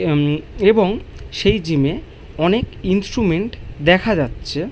উম্ম এবং সেই জিমে অনেক ইনস্ট্রুমেন্ট দেখা যাচ্ছে।